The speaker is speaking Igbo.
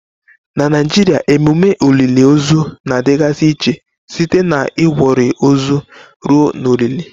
Na Naijiria emume olili ozu na-adịgasị iche site na Igwori ozu ruo na olili.